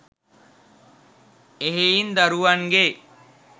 එහෙයින් දරුවන්ගේ